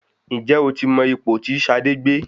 Ǹjẹ́ o mọ ipò tí Ṣadé gbé?